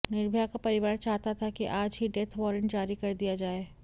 निर्भया का परिवार चाहता था कि आज ही डेथ वारंट जारी कर दिया जाए